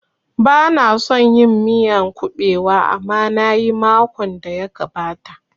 Bana son yin miyan kuɓewa amma nayi makon da ya gabata